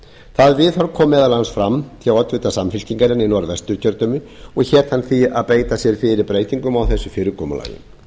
það viðhorf kom meðal annars fram hjá oddvita samfylkingarinnar í norðvesturkjördæmi og hét hann því að beita sér fyrir breytingu á þessu fyrirkomulagi